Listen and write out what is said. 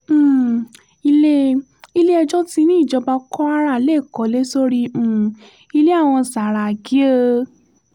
um ilé ilé-ẹjọ́ ti ní ìjọba kwara lè kọ́lé sórí um ilé àwọn sàràkí o